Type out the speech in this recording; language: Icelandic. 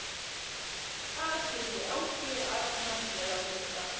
Hvað skildi Ási Arnars vera að hugsa?